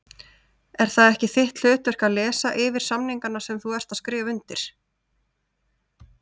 Er það ekki þitt hlutverk að lesa yfir samningana sem þú ert að skrifa undir?